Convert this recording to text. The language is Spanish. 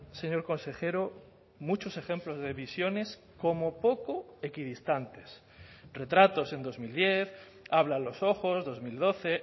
señor consejero muchos ejemplos de visiones como poco equidistantes retratos en dos mil diez hablan los ojos dos mil doce